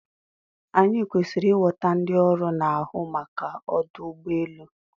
Anyị kwesịrị ịghọta ndị ọrụ na-ahụ maka ọdụ ụgbọ elu.